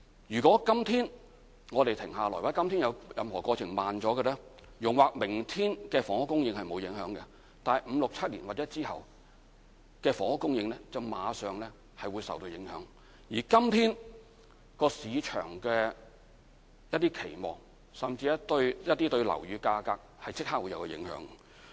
如果今天我們停下來或有任何過程慢了，容或明天的房屋供應不會受影響，但五六七年或之後的房屋供應會馬上受影響，而對今天市場的期望甚至對樓宇價格是有即時影響的。